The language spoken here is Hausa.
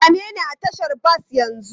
Same ni a tashar bas yanzu!